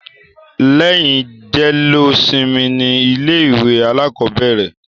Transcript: Lẹ́yìn jẹ́lósimi ni ilé ìwé alákọ̀bẹ̀rẹ̀.